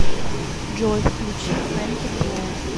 джой включи фэнки флоу